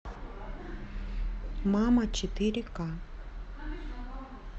мама четыре ка